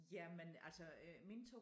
Jamen altså øh mine 2